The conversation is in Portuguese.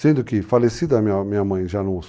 Sendo que, falecida minha minha mãe já